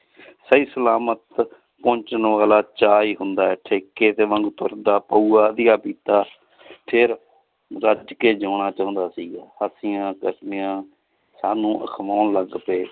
ਸਹੀ ਸਲਾਮਤ ਪਹੁੰਚਣ ਨੂੰ ਅਗਲਾ ਚਾਅ ਹੀ ਹੁੰਦਾ ਹੈ ਇੱਥੇ ਤੁਰਦਾ ਪਊਆ ਅਧੀਆ ਪੀਤਾ ਫਿਰ ਰੱਜ ਕੇ ਜਿਓਣਾ ਚਾਹੁੰਦਾ ਸੀਗਾ ਸਾਨੂੰ ਅਖਵਾਉਣ ਲੱਗ ਪਏ